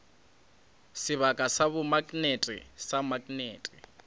sebaka sa bomaknete sa maknete